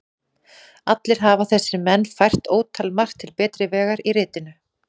Allir hafa þessir menn fært ótalmargt til betri vegar í ritinu.